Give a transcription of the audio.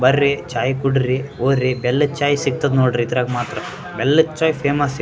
ಬರ್ರಿ ಚಾಯ್ ಕುಡ್ರಿ ಹೊರಿ ಬೆಲ್ಲದ್ ಚಾಯ್ ಸಿಗ್ತದ್ ನೋಡ್ರಿ ಇದ್ರಾಗ್ ಮಾತ್ರ ಬೆಲ್ಲದ್ ಚಾಯ್ ಫೇಮಸ್ --